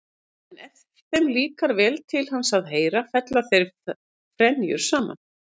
En ef þeim líkar vel til hans að heyra fella þeir frenjur saman.